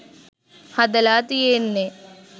හදලා තියෙන්නේ.